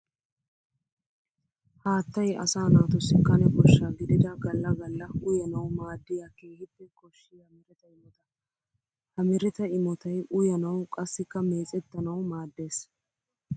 Haattay asaa naatussi kane kosha gididda gala gala uyannawu maadiya keehippe koshiya meretta imotta. Ha meretta imottay uyanawu qassikka meecetanawu maades.